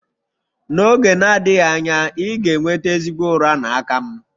N'oge na-adịghị anya, ị ga-enweta ezigbo ụra n'aka m.